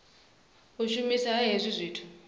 u shumiswa ha hezwi zwithu